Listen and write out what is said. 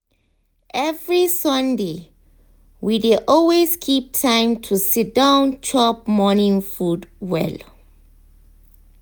every sunday we dey always keep time to siddon chop morning food well.